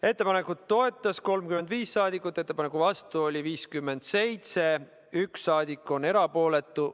Ettepanekut toetas 35 saadikut, ettepaneku vastu oli 57, 1 saadik on erapooletu.